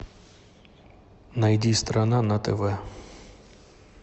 найди страна на тв